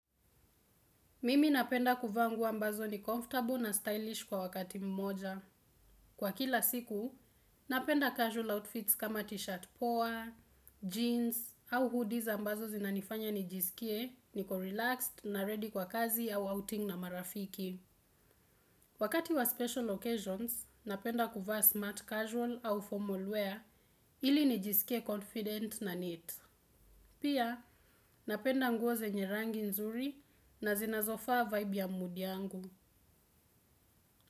Mimi napenda kuvaa nguo ambazo ni comfortable na stylish kwa wakati mmoja. Kwa kila siku, napenda casual outfits kama t-shirt poa, jeans, au hoodies ambazo zinanifanya nijisikie, niko relaxed na ready kwa kazi au outing na marafiki. Wakati wa special occasions, napenda kuvaa smart casual au formal wear ili nijisikie confident na neat. Pia, napenda nguo zenye rangi nzuri na zinazofaa vibe ya mood yangu.